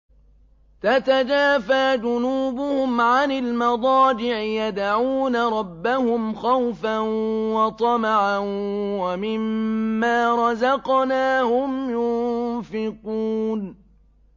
تَتَجَافَىٰ جُنُوبُهُمْ عَنِ الْمَضَاجِعِ يَدْعُونَ رَبَّهُمْ خَوْفًا وَطَمَعًا وَمِمَّا رَزَقْنَاهُمْ يُنفِقُونَ